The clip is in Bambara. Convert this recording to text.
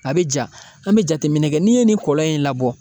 A bɛ ja , an bɛ jateminɛ kɛ n'i ye nin kɔlɔn in labɔ.